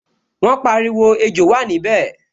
Wọ́n pariwo, 'Ejò wà níbẹ̀'